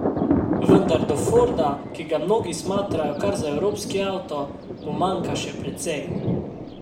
Vendar do Forda, ki ga mnogi smatrajo kar za evropski avto, mu manjka še precej.